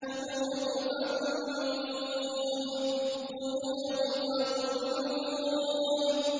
خُذُوهُ فَغُلُّوهُ